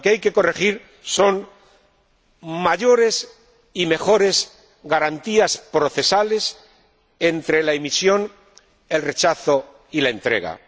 Lo que hay que corregir son mayores y mejores garantías procesales entre la emisión, el rechazo y la entrega.